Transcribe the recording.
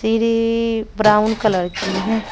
सीढ़ी brown colour की है